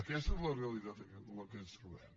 aquesta és la realitat amb què ens trobem